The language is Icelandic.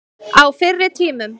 Á fyrri tímum.